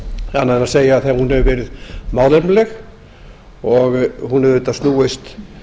annað en að segja að hún hefur verið málefnaleg hún hefur snúist